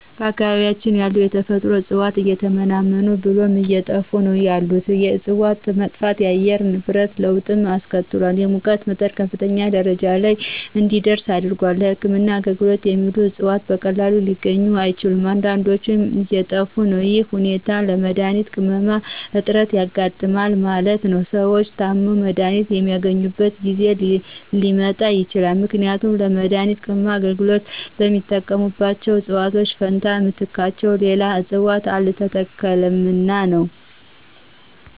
በአካባቢያችን ያሉ የተፈጥሮ እጽዋት እየተመናመኑ ብለውም አየጠፉ ነው ያሉት የእጽዋት መጥፋት ለአየር ንብረት ለወጥ አስከትሏል የሙቀት መጠን ከፍተኛ ደረጃ ለይ እንዲደርስ አድርጓል። ለህክምና አገልግሎት የሚውሉት እጽዋት በቀላሉ ሊገኙ አይችሉም አንዳዶችም እየጠፊ ነው ይህ ሁኔታ ለመድሀኒት ቅመማ እጥረት ያጋጥማል ማለት ነው። ሰዎች ታመው መድሀኒት የማያገኙበት ጊዜ ሊመጣ ይችላል ምክንያቱም ለመድሀኒት ቅመማ አገልግሎት በተጠቀሙባቸው እጽዋት ፈንታ በምትካቸው ሌላ እጽዋት አልተተከሉምና ነው።